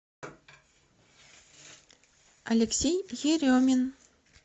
алексей еремин